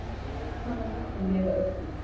Í hvaða löndum lifa uglur?